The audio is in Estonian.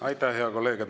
Aitäh, hea kolleeg!